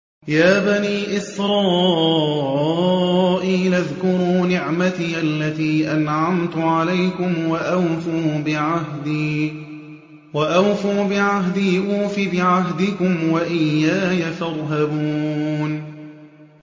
يَا بَنِي إِسْرَائِيلَ اذْكُرُوا نِعْمَتِيَ الَّتِي أَنْعَمْتُ عَلَيْكُمْ وَأَوْفُوا بِعَهْدِي أُوفِ بِعَهْدِكُمْ وَإِيَّايَ فَارْهَبُونِ